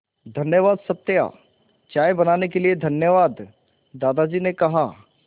धन्यवाद सत्या चाय बनाने के लिए धन्यवाद दादाजी ने कहा